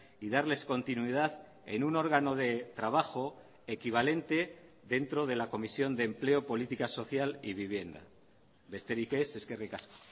y darles continuidad en un órgano de trabajo equivalente dentro de la comisión de empleo política social y vivienda besterik ez eskerrik asko